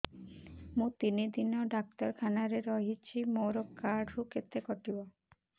ମୁଁ ତିନି ଦିନ ଡାକ୍ତର ଖାନାରେ ରହିଛି ମୋର କାର୍ଡ ରୁ କେତେ କଟିବ